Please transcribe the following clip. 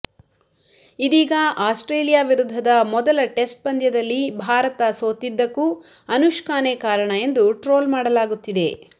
ಇದೀಗ ಆಸ್ಟ್ರೇಲಿಯಾ ವಿರುದ್ಧದ ಮೊದಲ ಟೆಸ್ಟ್ ಪಂದ್ಯದಲ್ಲಿ ಭಾರತ ಸೋತಿದ್ದಕ್ಕೂ ಅನುಷ್ಕಾನೇ ಕಾರಣ ಎಂದು ಟ್ರೋಲ್ ಮಾಡಲಾಗುತ್ತಿದೆ